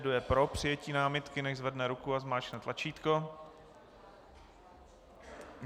Kdo je pro přijetí námitky, nechť zvedne ruku a zmáčkne tlačítko.